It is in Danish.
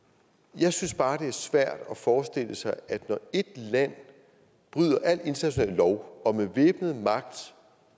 jeg synes bare det er svært at forestille sig at når et land bryder al international lov og med væbnet magt